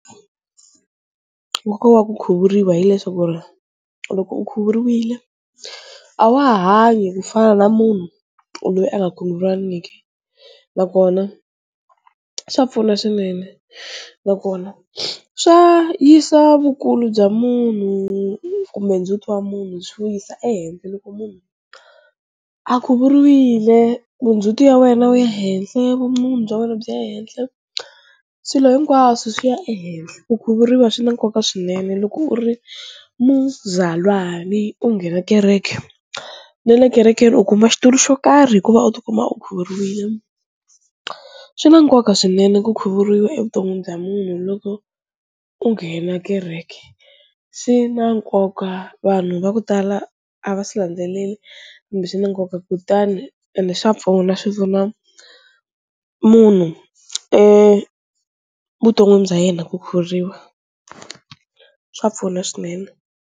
Nkoka wa ku khuvuriwa hileswaku ri loko u khuvuriwile a wa ha hanyi ku fana na munhu loyi a nga Khuvuriwangiki nakona swa pfuna swinene nakona swa yisa vukulu bya munhu kumbe ndzhuti wa munhu byi wu yisa ehenhla loko munhu a khuvuriwile, vundzhuti ya wena wu ya henhla, vumunhu bya wena byi ya ehenhla, swilo hinkwaswo swi ya ehenhla, ku khuvuriwa swi na nkoka swinene loko u ri muzalwani u nghena kereke na le kerekeni u kuma xitulu xo karhi hikuva u ti kuma u khuvuriwile, swi na nkoka swinene ku khuvuriwa evuton'wini bya munhu loko u nghena kereke, swi na nkoka vanhu va ku tala a va swi landzeleli ende swi na nkoka kutani ende swa pfuna swi pfuna munhu evuton'wini bya yena ku khukhuriwa swa pfuna swinene.